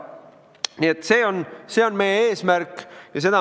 Nii et see on meie eesmärk.